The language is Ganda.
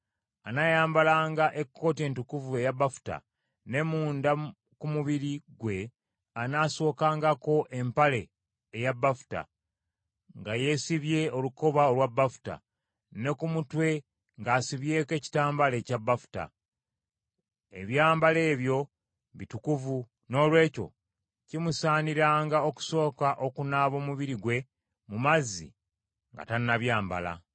Anaayambalanga ekkooti entukuvu eya bafuta, ne munda ku mubiri gwe anaasookangako empale eya bafuta, nga yeesibye olukoba olwa bafuta, ne ku mutwe ng’asibyeko ekitambaala ekya bafuta. Ebyambalo ebyo bitukuvu, noolwekyo kimusaaniranga okusooka okunaaba omubiri gwe mu mazzi nga tannabyambala.